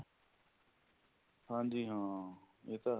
ਹਾਂਜੀ ਹਾਂ ਇਹ ਤਾਂ ਹੈ